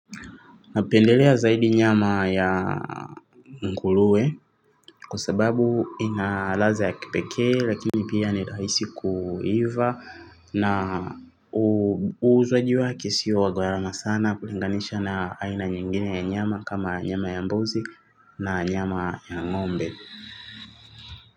Napendelea zaidi nyama ya nguluwe kwa sababu inaladha ya kipeke lakini pia nirahisi kuiva na uuzwaji wake sio wa gharama sana kulinganisha na aina nyingine ya nyama kama nyama ya mbuzi na nyama ya ngombe.